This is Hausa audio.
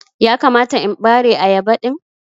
ya kamata in bare ayaba din?